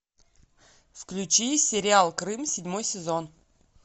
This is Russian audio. включи сериал крым седьмой сезон